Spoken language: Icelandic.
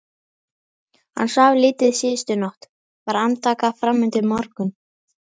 Hann svaf lítið síðustu nótt, var andvaka fram undir morgun.